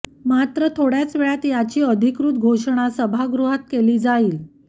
मात्र थोड्याच वेळात याची अधिकृत घोषणा सभागृहात केली जाईल